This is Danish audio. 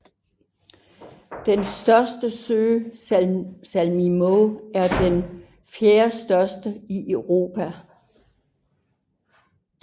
Den største sø Saimaa er den fjerdestørste i Europa